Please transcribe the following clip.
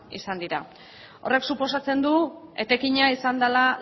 izan dira horrek suposatzen du etekina izan dela